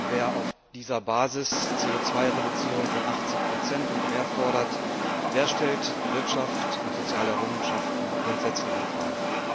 Wer auf dieser Basis eine CO 2 Reduzierung von 80 und mehr fordert, der stellt Wirtschaft und soziale Errungenschaften grundsätzlich in Frage.